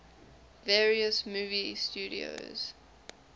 various movie studios